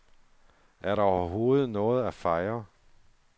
Er der overhovedet noget at fejre?